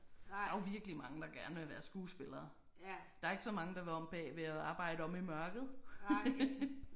Der er jo virkelig mange der gerne vil være skuespillere. Der er ikke så mange der vil om bagved og arbejde omme i mørket